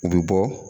U bɛ bɔ